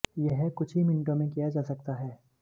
यह कुछ ही मिनटों में किया जा सकता है